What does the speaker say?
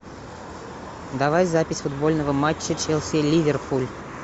давай запись футбольного матча челси ливерпуль